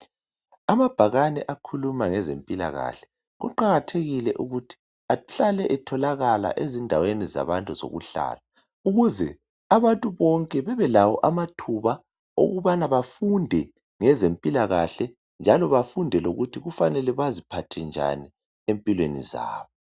Amabhakane akhuluma ngezempilakahle kuqakathekile ukuthi ahlale etholakala ezindaweni zabantu zokuhlala ukuze abantu bonke bebelawo amathuba okubana bafunde ngezempilakahle njalo bafunde lokuthi kufanele baziphathe njani empilweni zabo.